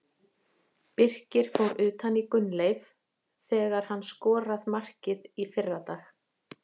Birkir fór utan í Gunnleif þegar hann skorað markið í fyrradag.